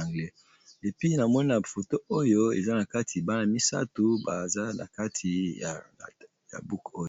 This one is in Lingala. anglais namoni , foto oyo eza na kati bana misato baza na kati ya buku oyo.